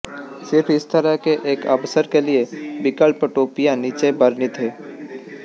सिर्फ इस तरह के एक अवसर के लिए विकल्प टोपियां नीचे वर्णित है